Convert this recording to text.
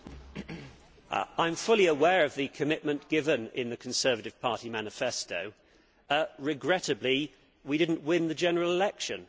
Madam President, I am fully aware of the commitment given in the Conservative Party manifesto. Regrettably we did not win the general election.